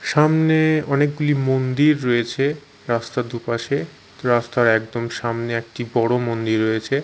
সামনে এ অনেকগুলি মন্দির রয়েছে রাস্তার দুপাশে রাস্তার একদম সামনে একটি বড় মন্দির রয়েছে।